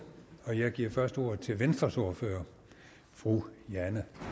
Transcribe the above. og jeg giver først ordet til venstres ordfører fru jane